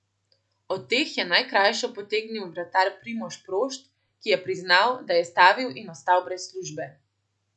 Od teh je najkrajšo potegnil vratar Primož Prošt, ki je priznal, da je stavil in ostal brez službe.